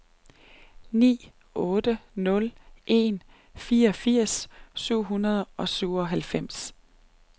ni otte nul en fireogfirs syv hundrede og syvoghalvfems